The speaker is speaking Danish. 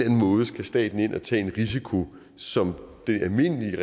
måde skal staten ind at tage en risiko som det almindelige